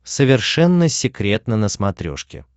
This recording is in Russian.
совершенно секретно на смотрешке